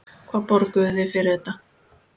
Hvað borguðuð þið fyrir þetta?